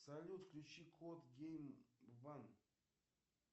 салют включи код гейм уан